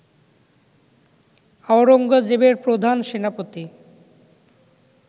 আওরঙ্গজেবের প্রধান সেনাপতি